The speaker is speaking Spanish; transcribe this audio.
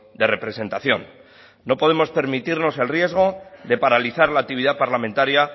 de representación no podemos permitirnos el riesgo de paralizar la actividad parlamentaria